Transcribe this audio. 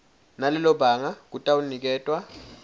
nalelo banga kutawuniketwa